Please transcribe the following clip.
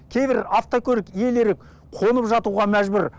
кейбір автокөлік иелері қонып жатуға мәжбүр